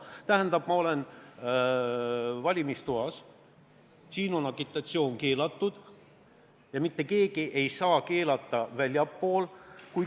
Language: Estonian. Tähendab, ma olen valimistoas, siin on agitatsioon keelatud, aga mitte keegi ei saa seda keelata väljaspool.